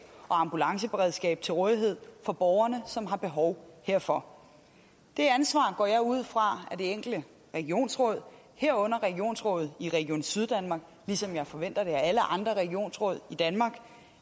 og ambulanceberedskab til rådighed for borgerne som har behov herfor det ansvar går jeg ud fra at det enkelte regionsråd herunder regionsrådet i region syddanmark ligesom jeg forventer det af alle andre regionsråd i danmark